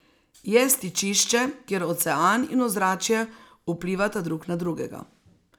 Je stičišče, kjer ocean in ozračje vplivata drug na drugega.